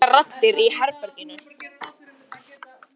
Það eru engar raddir í herberginu.